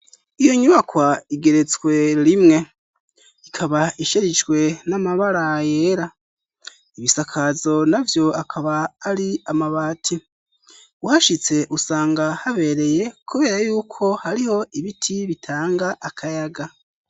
Iyo nyubakwa igeretswe rimwe ikaba isherishwe n'amabara yera ibisakazo navyo akaba ari amabati uhashitse usanga habereye kubera y'uko hariho ibiti bitanga akayaga.